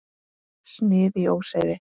Snið í óseyri.